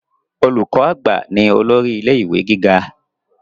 Olùkọ àgbà ni olórí ilé ìwé gíga.